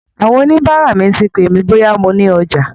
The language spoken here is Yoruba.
Àwọn oníbàárà mi ti pè mí bóyá mo ní ọjà.